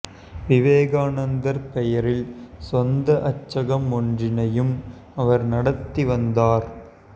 விவேகாநந்தர் பெயரில் சொந்த அச்சகம் ஒன்றினையும் அவர் நடத்தி வந்தார்